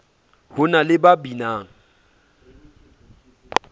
ho na le ba binang